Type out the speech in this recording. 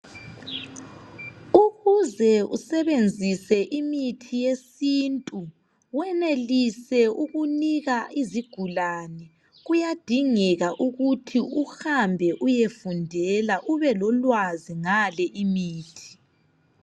Ukuze usebenzise imithi yesintu wenelise ukunika izigulani kuyadingeka ukuthi uhambe uyefundela ube lolwazi ngale imithi.